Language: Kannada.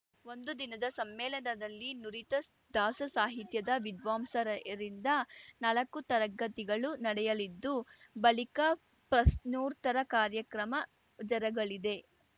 ಒಂದು ದಿನದ ಸಮ್ಮೇಳನದಲ್ಲಿ ನುರಿತ ದಾಸಸಾಹಿತ್ಯದ ವಿದ್ವಾಂಸರರಿಂದ ನಾಲಕ್ಕು ತರಗತಿಗಳು ನಡೆಯಲಿದ್ದು ಬಳಿಕ ಪ್ರಶ್ನೋರ್ತ್ತರ ಕಾರ್ಯಕ್ರಮ ಜರಗಲಿದೆ